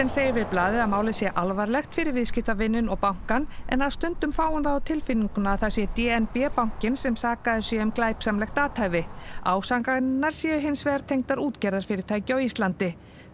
segir við blaðið að málið sé alvarlegt fyrir viðskiptavininn og bankann en að stundum fái hún það á tilfinninguna að það sé d n b bankinn sem sakaður sé um glæpsamlegt athæfi ásakanirnar séu hins vegar tengdar útgerðarfyrirtæki á Íslandi